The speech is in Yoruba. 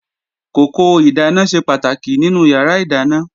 Kòkò ìdáná ṣe pàtàkì nínú yàrá ìdáná